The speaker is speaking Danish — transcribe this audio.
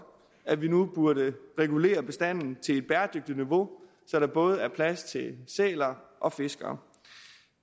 at vi nu burde regulere bistanden til et bæredygtigt niveau så der både er plads til sæler og fiskere